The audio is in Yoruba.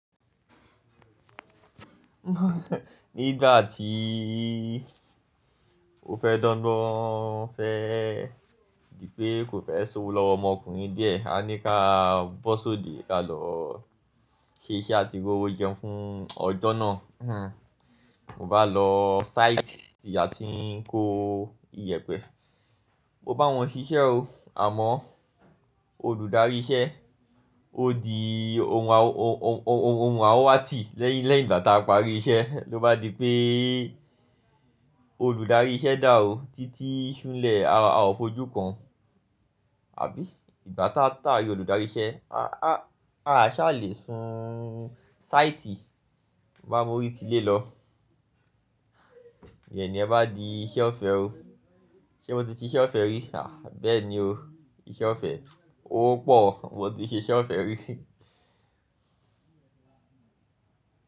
Nígbà tíí o fẹ́ dogbon, ó fẹ́ di pé kò fẹ́ sowo lọ́wọ́ ọmọkùnrin díẹ̀. A ní ká bọ́ sóde, ká lọ ṣe iṣẹ́ àti rowó jẹun fún ọjọ́ náà. Mo bá lọ sáìtì tí a ti ń kó ìyẹ̀pẹ̀. Mo bá wọn ṣiṣẹ́ o, àmọ́ olùdarí iṣẹ́ ó di ohun anwatì lẹ́yìn nígbà tá a parí iṣẹ́. Ló bá di pé olùdarí iṣẹ́ dà ó títí súnlẹ̀, a ò fojú kan, àbí ìgbà tá a rí olùdarí iṣẹ́, a ṣà lè sun sáìtì. Mo bá mú orí ti lé lọ. Niyen ẹ bá di iṣẹ́ ọ̀fẹ́ o. Ṣé mo ti ṣe iṣẹ́ ọ̀fẹ́ rí? A! Bẹ́ẹ̀ ni o, iṣẹ́ ọ̀fẹ́ ó pò, mo ti ṣe iṣẹ́ ọ̀fẹ́ rí.